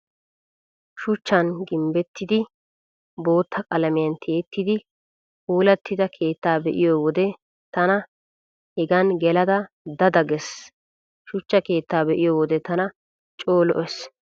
Shuchchan gimbbettidi bootta qalamiyan tiyettidi puulattida keettaa be'iyo wode tana hegan gelada da da gees. Shuchcha keetta be'iyo wode tana coo lo'ees.